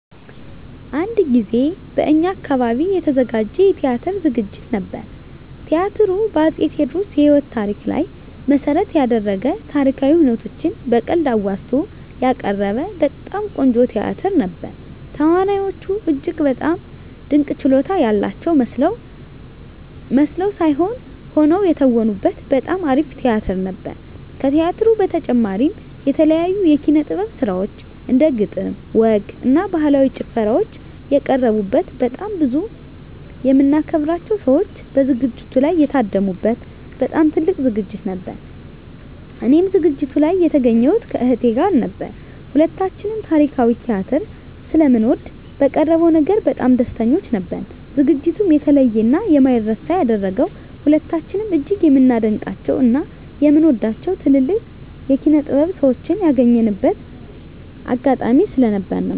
አንድ ጊዜ በእኛ አካባቢ የተዘጋጀ የቲያትር ዝግጅት ነበር። ቲያትሩ በ አፄ ቴዎድሮስ የህይወት ታሪክ ላይ መሰረት የደረገ ታሪካዊ ሁነቶችን በቀልድ አዋዝቶ ያቀረበ በጣም ቆንጆ ቲያትር ነበር። ተዋናዮቹ እጅግ በጣም ድንቅ ችሎታ ያላቸው መስለው ሳይሆን ሆነው የተወኑበት በጣም አሪፍ ቲያትር ነበር። ከቲያትሩ በተጨማሪም የተለያዩ የኪነ - ጥበብ ስራዎች እንደ ግጥም፣ ወግ እና ባህላዊ ጭፈራዎች የቀረቡበት በጣም ብዙ የምናከብራቸው ሰዎች በዝግጅቱ ላይ የታደሙ በት በጣም ትልቅ ዝግጅት ነበር። እኔም ዝግጅቱ ላይ የተገኘሁት ከእህቴ ጋር ነበር። ሁለታችንም ታሪካዊ ቲያትር ስለምንወድ በቀረበው ነገር በጣም ደስተኞች ነበርን። ዝግጅቱንም የተለየ እና የማይረሳ ያደረገው ሁለታችንም እጅግ የምናደንቃቸው እና የምንወዳቸውን ትልልቅ የኪነ -ጥበብ ሰዎችን ያገኘንበት አጋጣሚ ስለነበር ነው።